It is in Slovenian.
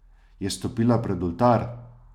Je stopila pred oltar?